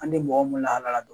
An tɛ mɔgɔ mun lahala dɔ